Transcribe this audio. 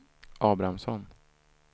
Abrahamsson